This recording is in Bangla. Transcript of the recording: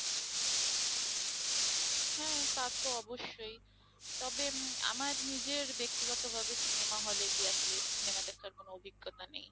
হ্যাঁঁ তা তো অবশ্যই, তবে উম আমার নিজের ব্যক্তিগতভাবে cinema hall এ গিয়ে আসলে cinema দেখার কোন অভিজ্ঞতা নেই।